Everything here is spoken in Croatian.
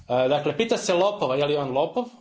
Dakle, pita se lopova je li on lopov.